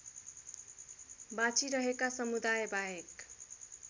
बाँचिरहेका समुदायबाहेक